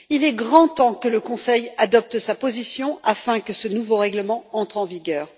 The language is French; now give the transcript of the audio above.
Il est grand temps que le Conseil adopte sa position afin que ce nouveau règlement entre en vigueur.